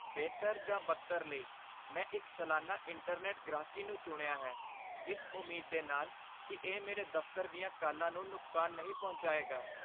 ਬਿਹਤਰ ਜਾਂ ਬਦਤਰ ਲਈ, ਮੈਂ ਇੱਕ ਸਲਾਨਾ ਇੰਟਰਨੈਟ ਗ੍ਰਾਹਕੀ ਨੂੰ ਚੁਣਿਆ ਹੈ, ਇਸ ਉਮੀਦ ਦੇ ਨਾਲ ਕਿ ਇਹ ਮੇਰੇ ਦਫ਼ਤਰ ਦੀਆਂ ਕਾਲਾਂ ਨੂੰ ਨੁਕਸਾਨ ਨਹੀਂ ਪਹੁੰਚਾਏਗਾ।